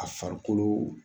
A farikolo.